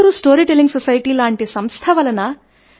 Bengaluru story telling society లాంటి సంస్థ ఉంది